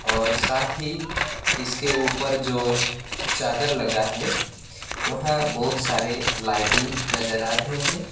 और साथ ही इसके उपर जो चादर लगा है वहां बहोत सारे लाइटिंग नज़र आ रहे हैं।